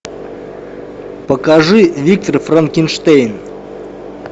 покажи виктор франкенштейн